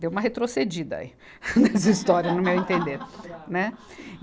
Deu uma retrocedida aí, nessa história, no meu entender.